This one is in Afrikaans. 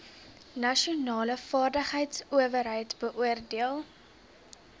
nasionale vaardigheidsowerheid beoordeel